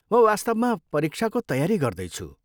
म वास्तवमा परीक्षाको तयारी गर्दैछु।